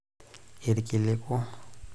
ilkiliku